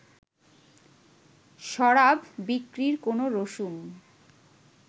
শরাব বিক্রির কোনো রসুম